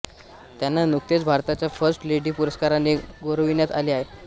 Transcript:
त्यांना नुकतेच भारताच्या फर्स्ट लेडी पुरस्काराने गौरविण्यात आले आहे